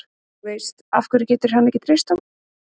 Þú veist, af hverju getur hann ekki treyst okkur?